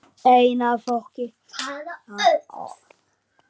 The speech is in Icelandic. ein af fólki Faraó